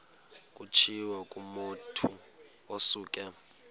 kutshiwo kumotu osuke